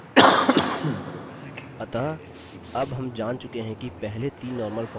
अतः अब हम जान चुके हैं कि पहले तीन normal forms को कैसे लागू करें